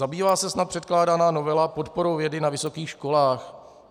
- Zabývá se snad předkládaná novela podporou vědy na vysokých školách?